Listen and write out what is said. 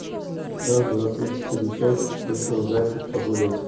раз два три четыре пять вышел зайчик погулять